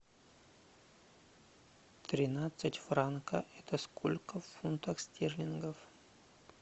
тринадцать франка это сколько в фунтах стерлингов